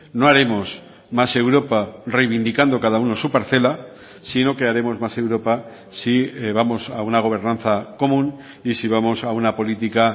no haremos más europa reivindicando cada uno su parcela sino que haremos más europa si vamos a una gobernanza común y si vamos a una política